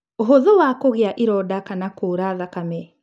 ũhũthũ wa kũgĩa ironda kana kuura thakame.